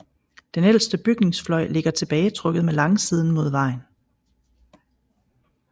Den ældste bygningsfløj ligger tilbagetrukket med langsiden mod vejen